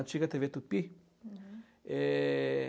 Antiga tê vê Tupi. É